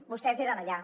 vostès eren allà